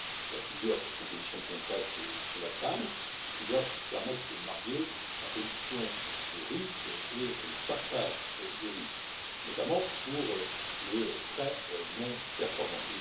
Il y a plusieurs propositions concrètes sur la table qui doivent permettre de marier la réduction et le partage des risques, notamment pour les prêts non performants.